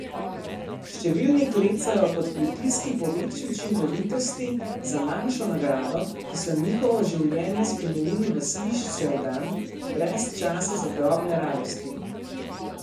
Številni klecajo pod pritiski po večji učinkovitosti za manjšo nagrado, ki so njihovo življenje spremenili v svižčev dan, brez časa za drobne radosti.